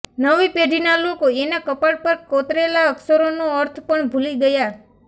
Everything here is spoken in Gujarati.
નવી પેઢીના લોકો એના કપાળ પર કોતરેલા અક્ષરોનો અર્થ પણ ભૂલી ગયા